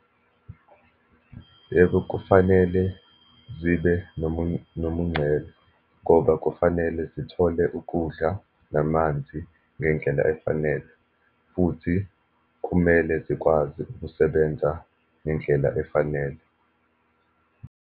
Yebo, kufanele zibe nomungcele ngoba kufanele zithole ukudla namanzi ngendlela efanele, futhi kumele zikwazi ukusebenza ngendlela efanele.